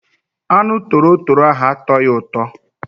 Anụ torotoro ahụ atọghị ụtọ.